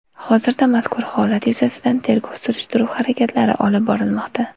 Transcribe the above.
Hozirda mazkur holat yuzasidan tergov-surishtiruv harakatlari olib borilmoqda.